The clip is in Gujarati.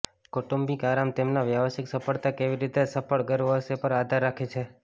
કૌટુંબિક આરામ તેમના વ્યાવસાયિક સફળતા કેવી રીતે સફળ ગર્વ હશે પર આધાર રાખે છે